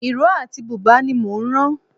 Ìró àti bùbá ní mò ń ran